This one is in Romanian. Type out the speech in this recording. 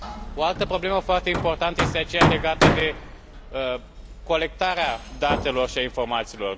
O altă problemă foarte importantă este aceea legată de colectarea datelor și a informațiilor.